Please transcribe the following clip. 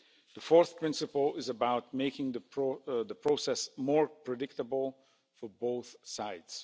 The fourth principle is about making the process more predictable for both sides.